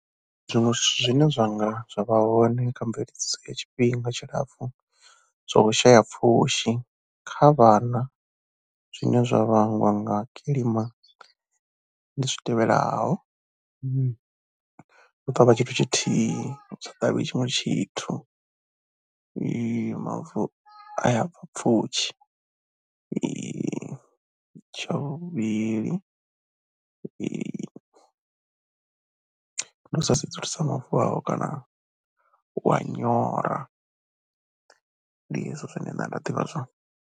Zwiṅwe zwithu zwine zwa vha hone kha mveledziso ya tshifhinga tshilapfhu zwo shaya pfhushi kha vhana zwine zwa vhangwa nga kilima ndi zwi tevhelaho, u ṱavha tshithu tshithihi, u sa ṱavhi tshiṅwe tshithu mavu a ya bva pfhushi ya, tsha vhuvhili, ndi u sa sedzulusa mavu avho kana wa nyora, ndi hezwo zwine nṋe nda ḓivha zwone.